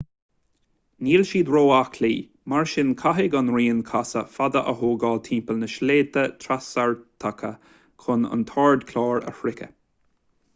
níl siad ró-aclaí mar sin caithfidh an rian casadh fada a thógáil timpeall na sléibhte trasartacha chun an t-ardchlár a shroicheadh